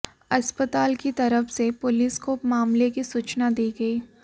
अस्पताल की तरफ से पुलिस को मामले की सूचना दी गई